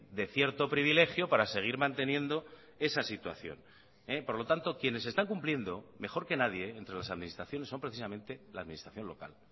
de cierto privilegio para seguir manteniendo esa situación por lo tanto quienes están cumpliendo mejor que nadie entre las administraciones son precisamente la administración local